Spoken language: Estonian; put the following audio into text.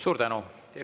Suur tänu!